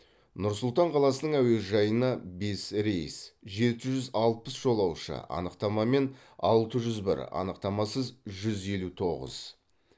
нұр сұлтан қаласының әуежайына бес рейс жеті жүз алпыс жолаушы анықтамамен алты жүз бір анықтамасыз жүз елу тоғыз